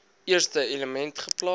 eerste element geplaas